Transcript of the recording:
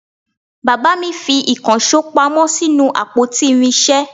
Bàbá mi fi ìkànsó pamọ́ sínú àpótí irinsé